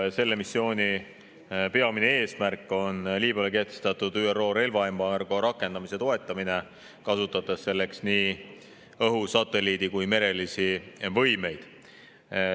Selle missiooni peamine eesmärk on Liibüale kehtestatud ÜRO relvaembargo rakendamise toetamine, kasutades selleks nii õhu‑, satelliidi‑ kui ka merelisi võimeid.